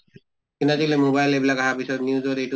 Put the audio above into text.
কিন্তু আজি কালি mobile এইবিলাক আহাৰ পিছত news ত এইটো